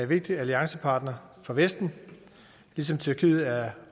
vigtig alliancepartner for vesten ligesom tyrkiet er